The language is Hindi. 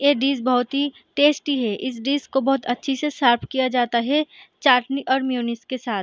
ये डिश बहोत ही टेस्टी है इस डिश को बहोत अच्छी से सर्व किया जाता है चाटनी और म्योनीज के साथ ।